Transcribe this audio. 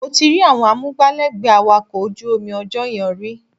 Mo ti rí àwọn amúgbálẹ́gbẹ̀ẹ́ awakọ̀ ojú omi ọjọ́ yẹn rí